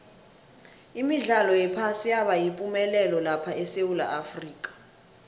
imidlalo yephasi yaba yipumelelo lapha esewula afrika